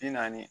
Bi naani